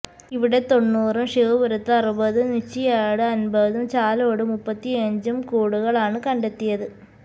ഇവിടെ തൊണ്ണൂറും ശിവപുരത്ത് അറുപതും നുച്ചിയാട് അന്പതും ചാലോട് മുപ്പത്തിയഞ്ചും കൂടുകളാണ് കണ്ടെത്തിയത്